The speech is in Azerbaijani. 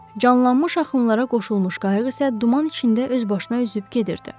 Canlanmış axınlara qoşulmuş qayıq isə duman içində özbaşına üzüb gedirdi.